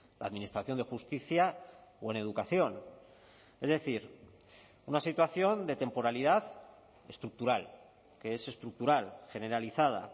la administración de justicia o en educación es decir una situación de temporalidad estructural que es estructural generalizada